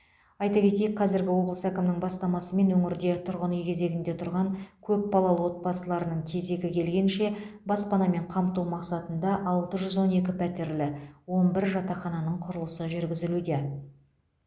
айта кетейік қазіргі облыс әкімінің бастамасымен өңірде тұрғын үй кезегінде тұрған көпбалалы отбасыларының кезегі келгенше баспанамен қамту мақсатында алты жүз он екі пәтерлі он бір жатақхананың құрылысы жүргізілуде